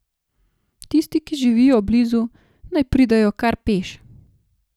Tisti, ki živijo blizu, naj pridejo kar peš.